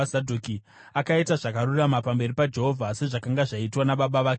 Akaita zvakarurama pamberi paJehovha, sezvakanga zvaitwa nababa vake Uzia.